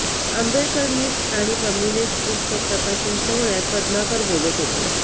आंबेडकरनिस्ट आणि कम्युनिस्ट पुस्तक प्रकाशन सोहळ्यात पद्माकर बोलत होते